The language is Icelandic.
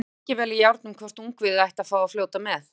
Það stóð lengi vel í járnum hvort ungviðið ætti að fá að fljóta með.